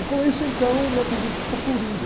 E com isso, então, o meu apelido ficou.